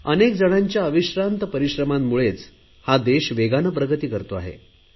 अनेक जणांच्या अविश्रांत परिश्रमांमुळेच हा देश वेगाने प्रगती करतो आहे